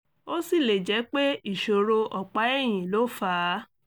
ó sì lè jẹ́ pé ìṣòro ọ̀pá ẹ̀yìn ló fà á